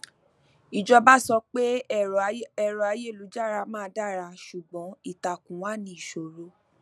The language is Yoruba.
ìjọba sọ pé ẹrọayélujára máa dara ṣùgbọn ìtàkùn wà ní ìṣòro